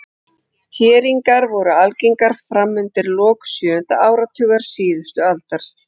Þéringar voru algengar fram undir lok sjöunda áratugar síðustu aldar.